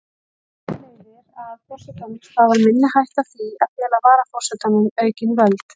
Þar af leiðir að forsetanum stafar minni hætta af því að fela varaforsetanum aukin völd.